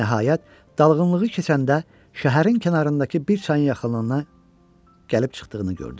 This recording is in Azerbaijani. Nəhayət, dalğınlığı keçəndə şəhərin kənarındakı bir çayın yaxınlığına gəlib çıxdığını gördü.